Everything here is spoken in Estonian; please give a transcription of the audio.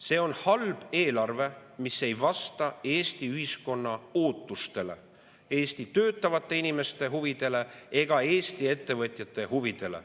See on halb eelarve, mis ei vasta Eesti ühiskonna ootustele, Eesti töötavate inimeste huvidele ega Eesti ettevõtjate huvidele.